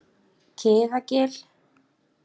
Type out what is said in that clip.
Kiðagili